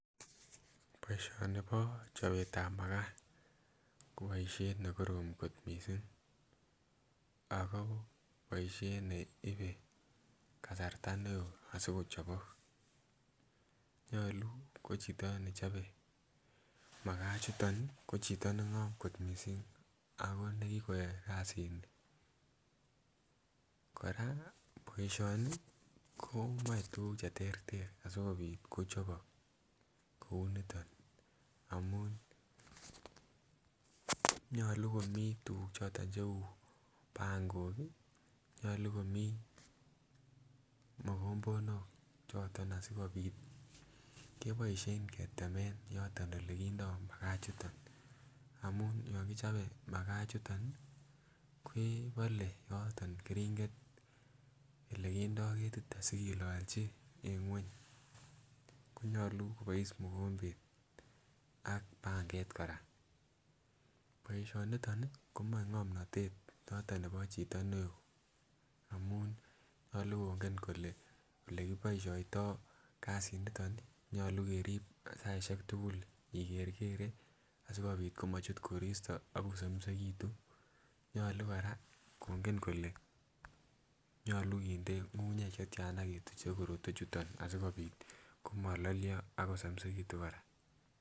Boishoni bo chobet tab makaa ko boishet nekorom kot missing ako boishet neibe kasarta neo asikochobok nyolu ko chito nechobe makaa chuton nii ko chito nengom kot missing ako nekikoyoe kasinii. Koraa boishoni komoi tukuk cheterter asikopit kochobok kou niton amun nyolu komii tukuk choton cheu pankok kii, nyolu komii mokombonok choton asikopit keboishen ketemen to ole kindo makaa chuton amun yon kichobe makaa chuton nii kebole yoton keringet ele kindo ketit asikilolchi en ngweny konyolu kobois mokombet ak panget koraa. Boishoniton nii komoi ngomnotet noton nebo chito neo amun nyolu kongen kole ole kiboishoito kasit niton nii nyolu kerib saishek tukuk ikerkere asikopit komochut koroisti ako somisekitum , nyolu Koraa konget kole nyolu kinde ngungunyek chetyana ketuchen korotwek chuton asikopit komololyo akosomisekitum Koraa.